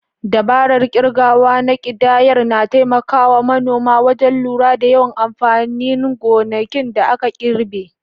Dabarar kirgawa na kidayar na taimaka wa manoma wajen lura da yawan amfanin gonakin da aka girbe.